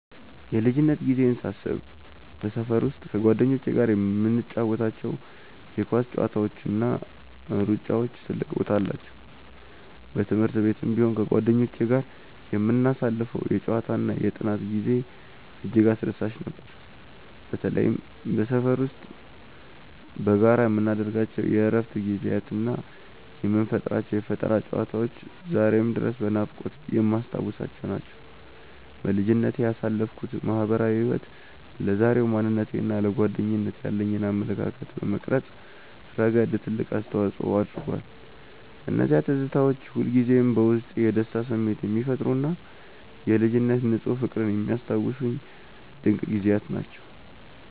የልጅነት ጊዜዬን ሳስብ በሰፈር ውስጥ ከጓደኞቼ ጋር የምንጫወታቸው የኳስ ጨዋታዎችና ሩጫዎች ትልቅ ቦታ አላቸው። በትምህርት ቤትም ቢሆን ከጓደኞቼ ጋር የምናሳልፈው የጨዋታና የጥናት ጊዜ እጅግ አስደሳች ነበር። በተለይም በሰፈር ውስጥ በጋራ የምናደርጋቸው የእረፍት ጊዜያትና የምንፈጥራቸው የፈጠራ ጨዋታዎች ዛሬም ድረስ በናፍቆት የማስታውሳቸው ናቸው። በልጅነቴ ያሳለፍኩት ማህበራዊ ህይወት ለዛሬው ማንነቴና ለጓደኝነት ያለኝን አመለካከት በመቅረጽ ረገድ ትልቅ አስተዋጽኦ አድርጓል። እነዚያ ትዝታዎች ሁልጊዜም በውስጤ የደስታ ስሜት የሚፈጥሩና የልጅነት ንፁህ ፍቅርን የሚያስታውሱኝ ድንቅ ጊዜያት ናቸው።